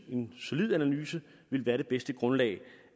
en solid analyse ville være det bedste grundlag